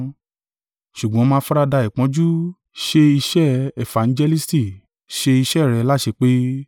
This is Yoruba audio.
Ṣùgbọ́n máa faradà ìpọ́njú, ṣe iṣẹ́ efangelisti, ṣe iṣẹ́ rẹ láṣepé.